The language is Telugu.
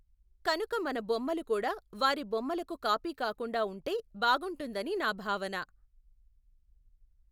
కనుక మన బొమ్మలు కూడా వారి బొమ్మలకు కాపీ కాకుండా ఉంటే బాగుంటుందని నా భావన.